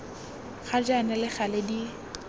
ga jaana le gale di